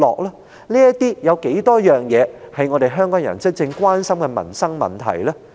他又處理過多少是香港人真正關心的民生問題呢？